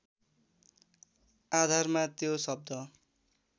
आधारमा त्यो शब्द